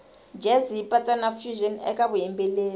jazz yipatsa nafusion ekavuyimbeleri